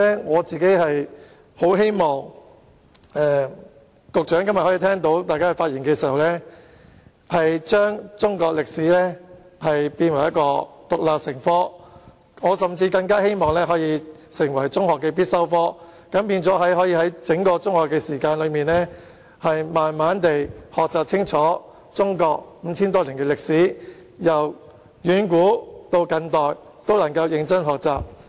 我很希望局長在聆聽大家的發言後，將中史獨立成科，甚至列為中學的必修科，以致學生可以在整段中學時期慢慢地學習清楚中國五千多年的歷史，由遠古至近代都能夠認真學習。